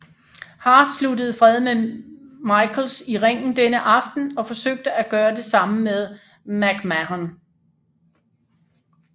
Hart sluttede fred med Michaels i ringen denne aften og forsøgte at gøre det samme med McMahon